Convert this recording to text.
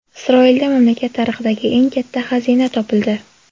Isroilda mamlakat tarixidagi eng katta xazina topildi.